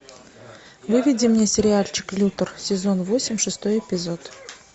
выведи мне сериальчик лютер сезон восемь шестой эпизод